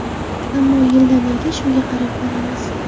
Ammo yildan-yilga shunga qarab boramiz.